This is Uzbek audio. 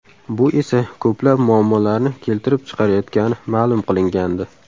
Bu esa ko‘plab muammolarni keltirib chiqarayotgani ma’lum qilingandi .